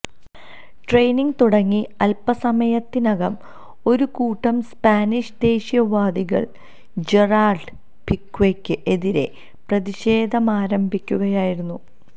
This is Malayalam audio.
ട്രെയിനിങ് തുടങ്ങി അല്പ്പസമയത്തിനകം ഒരുകൂട്ടം സ്പാനിഷ് ദേശീയ വാദികള് ജെറാള്ഡ് പിക്വേയ്ക്ക് എതിരെ പ്രതിഷേധമാരംഭിക്കുകയായിരുന്നു